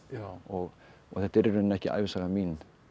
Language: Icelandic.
og þetta er í rauninni ekki ævisaga mín